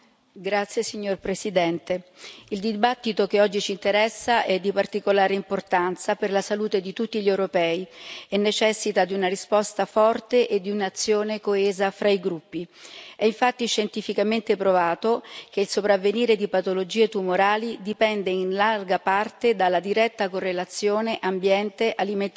Signora Presidente, onorevoli colleghi, la discussione che oggi ci interessa è di particolare importanza per la salute di tutti gli europei e necessita di una risposta forte e di un'azione coesa fra i gruppi. È infatti scientificamente provato che il sopravvenire di patologie tumorali dipende in larga parte dalla diretta correlazione tra ambiente, alimentazione